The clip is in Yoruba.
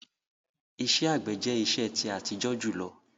Ìṣẹ̀ àgbẹ̀ jẹ̀ ìṣẹ̀ ti àtíjọ júlọ